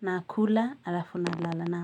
Nakula alafu na lala naam.